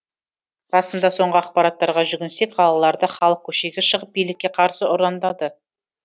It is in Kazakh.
расында соңғы ақпараттарға жүгінсек қалаларда халық көшеге шығып билікке қарсы ұрандады